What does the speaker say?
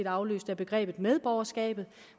afløst af begrebet medborgerskab